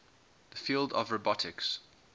the field of robotics